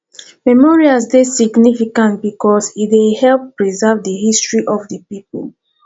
memorials dey significant because e dey help preserve di history of di pipo